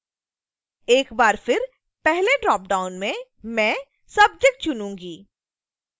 एक बार फिर पहले ड्रॉपडाउन में मैं subject चुनें